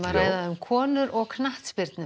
ræðum konur og knattspyrnu